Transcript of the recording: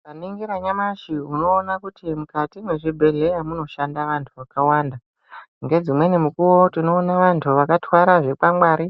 Ukaringira nyamashi unoona kuti mukati mwezvibhedhlera munoshanda vantu vakawanda. Ngedzimweni mukuwo, tinoona vantu vakathwara chikwangwari